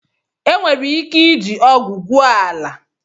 Enwere ike iji ọgụ gwue ala.